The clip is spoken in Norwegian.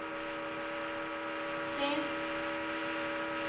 se